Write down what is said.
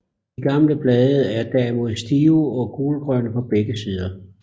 De gamle blade er derimod stive og gulgrønne på begge sider